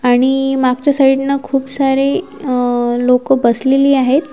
आणि मागच्या साईडनं खूप सारे लोकं बसलेली आहेत.